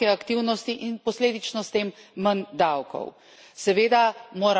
Zgodi se upad gospodarske aktivnosti in posledično s tem manj davkov.